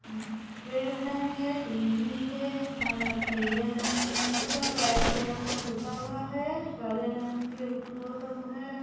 पेड़ हेंगे टीवी है हरा पीले रंग का व्हाइट कलर का पुता हुआ है हरे रंग के वो सब है।